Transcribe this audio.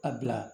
A bila